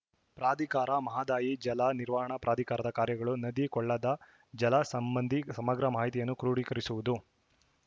ಪ್ರಾಧಿಕಾರ ಮಹದಾಯಿ ಜಲ ನಿರ್ವಹಣಾ ಪ್ರಾಧಿಕಾರದ ಕಾರ್ಯಗಳು ನದಿ ಕೊಳ್ಳದ ಜಲ ಸಂಬಂಧಿ ಸಮಗ್ರ ಮಾಹಿತಿಯನ್ನು ಕ್ರೋಢಿಕರಿಸುವುದು